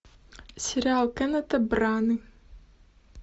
сериал кеннета браны